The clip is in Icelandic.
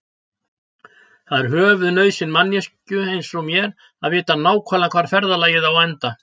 Það er höfuðnauðsyn manneskju einsog mér að vita nákvæmlega hvar ferðalagið á að enda.